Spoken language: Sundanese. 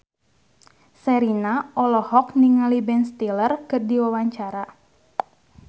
Sherina olohok ningali Ben Stiller keur diwawancara